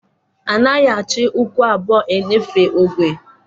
A naghị achị ụkwụ abụọ-eṅefe ogwe